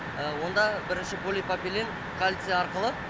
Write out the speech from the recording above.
онда бірінші полипропилен кальций арқылы